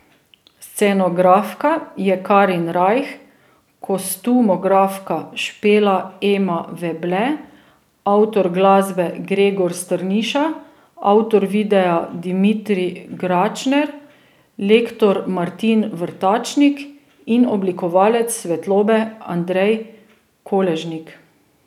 Scenografka je Karin Rajh, kostumografka Špela Ema Veble, avtor glasbe Gregor Strniša, avtor videa Dimitrij Gračner, lektor Martin Vrtačnik in oblikovalec svetlobe Andrej Koležnik.